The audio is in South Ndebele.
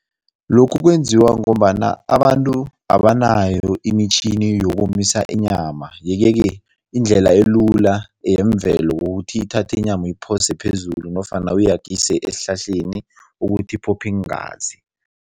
Lokhu kwenziwa ngombana abantu abanayo imitjhini yokomisa inyama yeke-ke indlela elula yemvelo yokuthi uthathe inyama uyiphose phezulu nofana ayagise esihlahleni ukuthi iphophe iingazi.